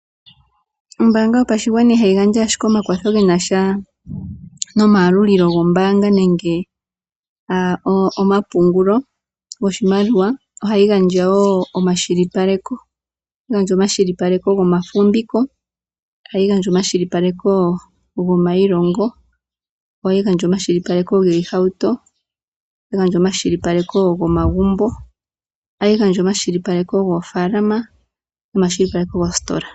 Ombananga yopashigwana ihayi gandja owala omakwatho ge na sha nomayalulilo gombaanga nenge omapungulo goshimaliwa, ohayi gandja wo omakwashilipaleko. Omakwashilipaleko gomafumviko, ohayi gandja omakwashilipaleko gomailongo, ohayi gandja omakwashilipaleko giihauto, ohayi gandja omakwashilipaleko gomagumbo, ohayi gandja omakwashilipaleko goofaalama nomakwashilipaleko goositola.